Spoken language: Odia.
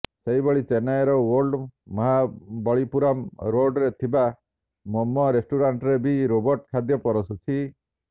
ସେହିଭଳି ଚେନ୍ନାଇର ଓଲ୍ଡ ମହାବଳିପୁରମ୍ ରୋଡ୍ରେ ଥିବା ମୋମୋ ରେଷ୍ଟୁରାଣ୍ଟରେ ବି ରୋବୋଟ ଖାଦ୍ୟ ପରଷୁଛି